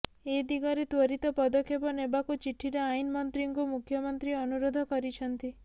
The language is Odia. ଏ ଦିଗରେ ତ୍ୱରିତ ପଦକ୍ଷେପ ନେବାକୁ ଚିଠିରେ ଆଇନ ମନ୍ତ୍ରୀଙ୍କୁ ମୁଖ୍ୟମନ୍ତ୍ରୀ ଅନୁରୋଧ କରିଛନ୍ତି